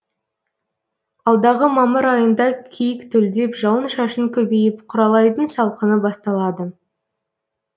алдағы мамыр айында киік төлдеп жауын шашын көбейіп құралайдың салқыны басталады